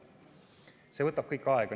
See võtab kõik aega.